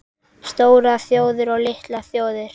STÓRAR ÞJÓÐIR OG LITLAR ÞJÓÐIR